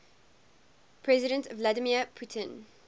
president vladimir putin